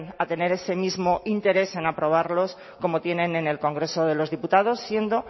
a tener ese mismo interés en aprobarlos como tienen en el congreso de los diputados siendo